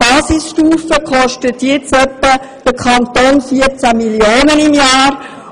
Zurzeit kostet die Basisstufe den Kanton 14 Mio. Franken im Jahr.